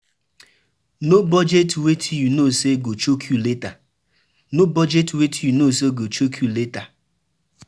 No budget wetin you know sey go choke you later